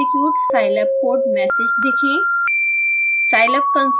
ready to execute scilab code message देखें